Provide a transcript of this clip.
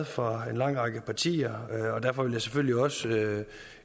fra en lang række partier og derfor vil jeg selvfølgelig også nu